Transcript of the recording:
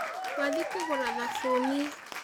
Twathiĩ kũgũra thabuni